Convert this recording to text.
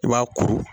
I b'a kuru